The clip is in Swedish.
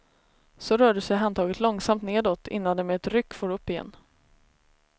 Så rörde sig handtaget långsamt nedåt, innan det med ett ryck for upp igen.